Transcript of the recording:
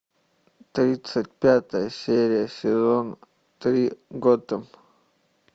тридцать пятая серия сезон три готэм